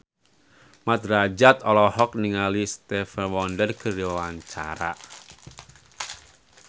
Mat Drajat olohok ningali Stevie Wonder keur diwawancara